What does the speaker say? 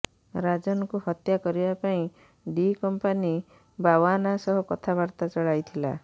ରାଜନକୁ ହତ୍ୟା କରିବାପାଇଁ D company ବାଓ୍ବନା ସହ କଥାବାର୍ତ୍ତା ଚଳାଇଥିଲା